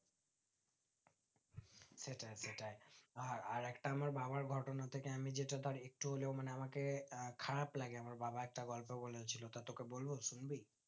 সেটাই সেটাই আর আরেকটা আমার বাবার গটনা থেকে আমি যেটা ধরে একটু হলেও মানে আমাকে খারাপ লাগে মানে আমার বাবা একটা গল্প বলেছিল তা তোকে বলবো শুনবি